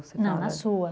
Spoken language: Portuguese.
Não, na sua.